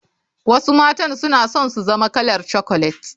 Wasu matan suna son su zama kalar chocolet.